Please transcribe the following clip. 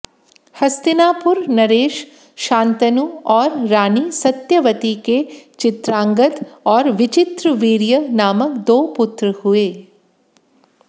हस्तिनापुर नरेश शान्तनु और रानी सत्यवती के चित्रांगद और विचित्रवीर्य नामक दो पुत्र हुये